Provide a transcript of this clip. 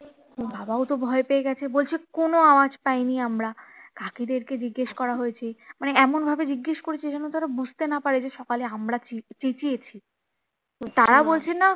বাবাও তো ভয় পেয়ে গেছে বলছে কোনো আওয়াজ পায় নি আমরা কাকী দের কে জিজ্ঞেস করা হয়েছে মানে এমন ভাবে জিজ্ঞেস করেছে যেন তার বুঝতে না পারে যে সকালে আমরা চেঁচিয়েছি তো তারা বলছে না